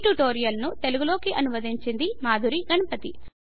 ఈ ట్యుటోరియల్ను తెలుగు లోకి అనువదించింది మాధురి గణపతి